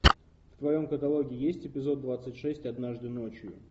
в твоем каталоге есть эпизод двадцать шесть однажды ночью